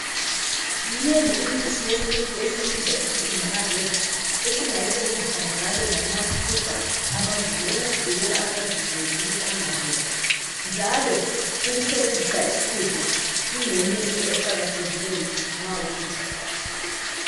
Minengi imithi yesintu esiyibiza sisithi ngama herbs esingayisebenzisa njalo lanxa sixubha amazinyo ukuvikela amazinyo ukuthi engaboli njalo ukusebenzisa isixubho kungeyinye into eqakathekile nxa uxubha.